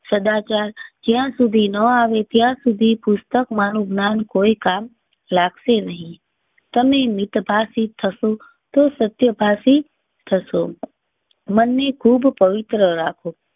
સદાચાર જ્યાં સુધી ન આવે ત્યાં સુધી પુસ્તક માં નું ગ્નાન કોઈ કામ લાગશે નહીં. સમય મિત ભાષી થશો તો સત્ય ભાષી. મન ને ખૂબ પવિત્ર રાખો